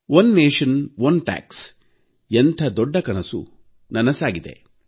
ಒಂದು ದೇಶ ಒಂದು ತೆರಿಗೆ ಎಂಥ ದೊಡ್ಡ ಕನಸು ನನಸಾಗಿದೆ